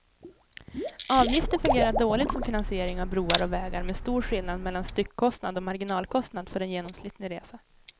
Avgifter fungerar dåligt som finansiering av broar och vägar med stor skillnad mellan styckkostnad och marginalkostnad för en genomsnittlig resa.